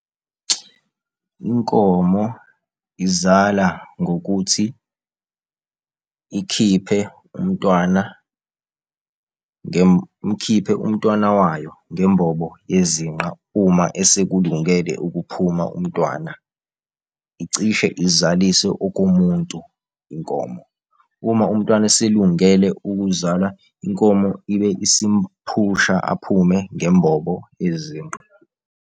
Inkomo izala ngokuthi ikhiphe umntwana, ikhiphe umntwana, ikhiphe umntwana wayo ngembobo yezinqa, uma esekhulungele ukuphuma umntwana. Icishe izalise okomuntu inkomo. Uma umntwana eselungele ukuzalwa inkomo, ibe isimphusha aphume ngembobo yezinqa.